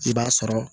I b'a sɔrɔ